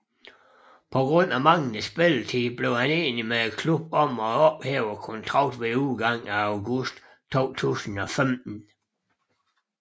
På grund af manglende spilletid blev han enig med klubben om at ophæve kontrakten ved udgangen af august 2015